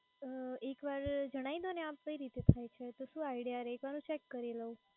અ એક વાર જણાવી દોને આપ કાઈ રીત થાય છે તો શું idea રહે એક વાર હું check કરી લવ.